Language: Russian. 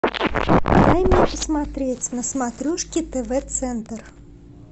дай мне посмотреть на смотрешке тв центр